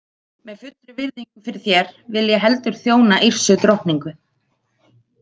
Með fullri virðingu fyrir þér vil ég heldur þjóna Yrsu drottningu.